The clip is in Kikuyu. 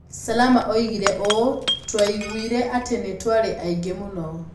Salama oigire ũũ: "Twaiguire atĩ nĩ twarĩ aingĩ mũno.